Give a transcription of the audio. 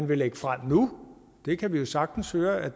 vi lægger frem nu det kan vi jo sagtens høre at